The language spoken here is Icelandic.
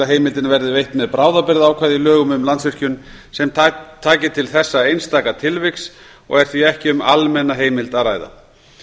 að heimildin verði veitt með bráðabirgðaákvæði í lögum um landsvirkjun sem taki til þessa einstaka tilviks og er því ekki um almenna heimild að ræða